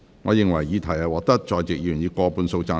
我認為議題獲得在席議員以過半數贊成。